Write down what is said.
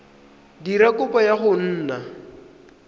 dira kopo ya go nna